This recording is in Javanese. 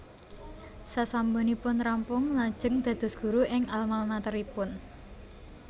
Sasampunipun rampung lajeng dados guru ing almamateripun